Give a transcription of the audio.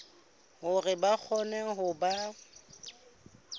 hore ba kgone ho ba